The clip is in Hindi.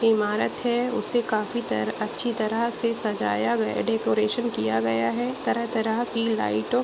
ईमारत है उसे काफी तरह अच्छी तरह सजाया गया डेकोरेशन किया गया है तरह-तरह की लाइटो --